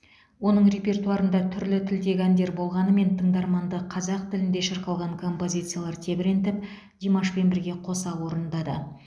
оның репертуарында түрлі тілдегі әндер болғанымен тыңдарманды қазақ тілінде шырқалған композициялар тебірентіп димашпен бірге қоса орындады